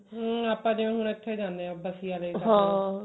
ਨਹੀਂ ਆਪਾਂ ਦੇਖਲੋ ਹੁਣ ਇੱਥੇ ਜਾਂਦੇ ਹਾਂ ਬਸੀ ਆਲੇ